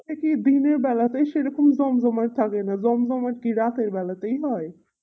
দিনের বেলাতে সেরকম জমজমাট থাকেনা জমজমাট কি রাত্রের বেলাতেই হয়